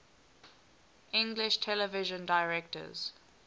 english television directors